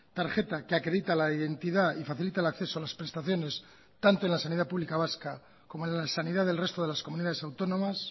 tarjeta que acredita la identidad y facilita el acceso a las prestaciones tanto en la sanidad pública vasca como en la sanidad del resto de las comunidades autónomas